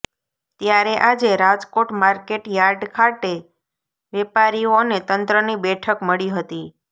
ત્યારે આજે Rajkot market yard ખાતે વેપારીઓ અને તંત્રની બેઠક મળી હતી